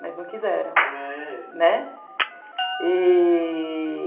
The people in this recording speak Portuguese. Mas não quiseram. É... né? e...